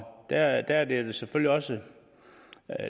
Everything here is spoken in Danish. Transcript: der er det er det selvfølgelig også